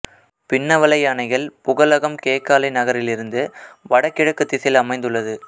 பின்னவலை யானைகள் புகலகம் கேகாலை நகரிலிருந்து வட கிழக்குத் திசையில் அமந்துள்ளது